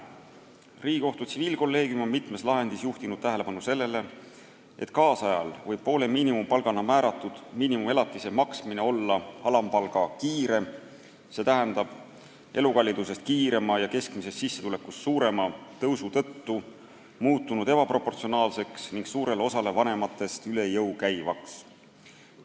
Riigikohtu tsiviilkolleegium on mitmes lahendis juhtinud tähelepanu sellele, et tänapäeval võib poole miinimumpalgana määratud miinimumelatise maksmine olla alampalga kiire tõusu tõttu – see võib tõusta kiiremini kui elukallidus ja keskmine sissetulek – muutunud ebaproportsionaalseks ning suurele osale vanematest üle jõu käivaks.